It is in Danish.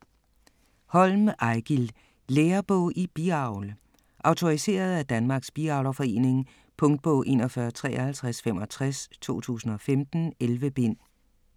Holm, Eigil: Lærebog i biavl Autoriseret af Danmarks Biavlerforening. Punktbog 415365 2015. 11 bind.